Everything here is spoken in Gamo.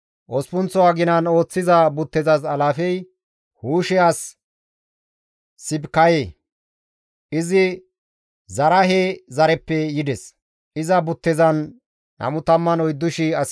Osppunththo aginan ooththiza buttezas alaafey Huushe as Sibikaye; izi Zaraahe zareppe yides; iza buttezan 24,000 asi dees.